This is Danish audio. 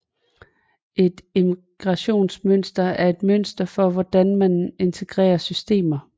Et integrationsmønster er et mønster for hvordan man integrerer systemer